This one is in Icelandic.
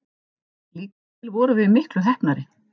Líkast til vorum við miklu heppnari.